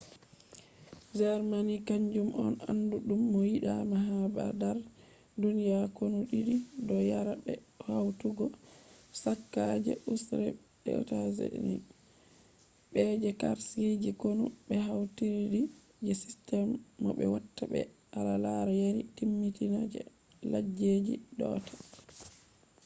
germany kanjum on andu dum mo yida ma ha dar duniya konu did do yara be hautugo chaka je ussr be usa. be je karshe je konu be hautidiri je system no be watta be al’ada yari timmitina je leddije do’ata